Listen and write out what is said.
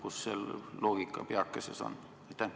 Kus see loogika peakeses on?